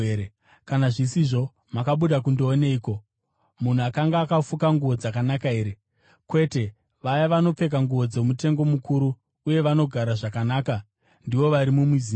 Kana zvisizvo, makabuda kundooneiko? Munhu akanga akafuka nguo dzakanaka here? Kwete, vaya vanopfeka nguo dzomutengo mukuru uye vanogara zvakanaka ndivo vari mumizinda.